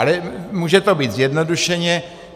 Ale může to být zjednodušeně.